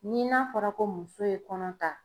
Ni n'a fɔra ko muso ye kɔnɔ ta